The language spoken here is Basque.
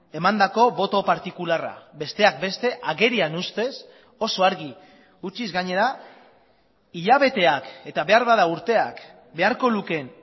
emandako boto partikularra besteak beste agerian ustez oso argi utziz gainera hilabeteak eta beharbada urteak beharko lukeen